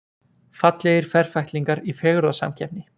Fallegir ferfætlingar í fegurðarsamkeppni